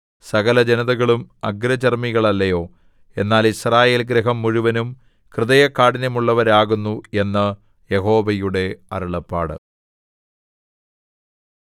സകലജനതകളും അഗ്രചർമ്മികളല്ലയോ എന്നാൽ യിസ്രായേൽഗൃഹം മുഴുവനും ഹൃദയകാഠിന്യമുള്ളവരാകുന്നു എന്ന് യഹോവയുടെ അരുളപ്പാട്